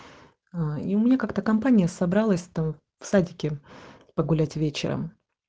аа и мне как-то компания собралась там в садике погулять вечером